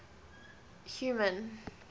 human